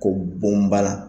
Ko bonbana